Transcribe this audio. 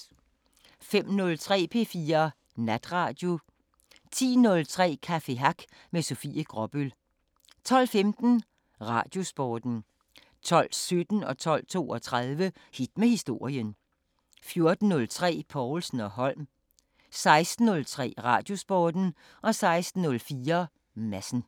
05:03: P4 Natradio 10:03: Café Hack med Sofie Gråbøl 12:15: Radiosporten 12:17: Hit med historien 12:32: Hit med historien 14:03: Povlsen & Holm 16:03: Radiosporten 16:04: Madsen